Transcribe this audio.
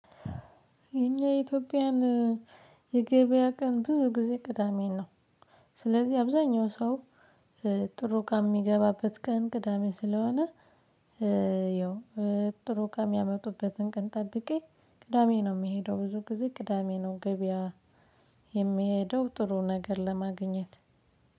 የኛ የኢትዮጵያን የገበያ ቀን ብዙ ጊዜ ቅዳሜ ነው። ስለዚህ አብዛኛው ሰው ጥሩ ቃም የሚገባበት ቀን ቅዳሜ ስለሆነ። ይኸው ጥሩ ከሚያመጡበትን ቀን ጠብቄ ቅዳሜ ነው የምሄደው። ብዙ ጊዜ ቅዳሜ ነው ገበያ የምሄደው። ጥሩ ነገር ለማግኘት